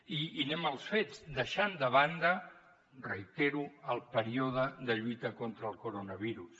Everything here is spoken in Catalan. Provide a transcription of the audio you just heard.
i anem als fets deixant de banda ho reitero el període de lluita contra el coronavirus